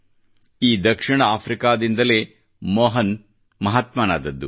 ಈ ದಕ್ಷಿಣ ಆಫ್ರಿಕಾದಿಂದಲೇ ಮೋಹನ್ ಮಹಾತ್ಮ ನಾದರು